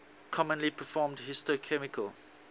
commonly performed histochemical